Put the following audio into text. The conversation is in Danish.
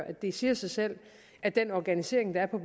at det siger sig selv at den organisering der er på